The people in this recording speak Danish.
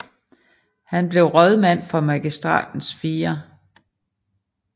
Han blev rådmand for Magistratens 4